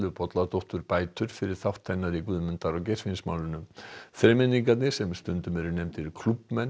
Bolladóttur bætur fyrir þátt hennar í Guðmundar og Geirfinnsmálinu þremenningarnir sem stundum eru nefndir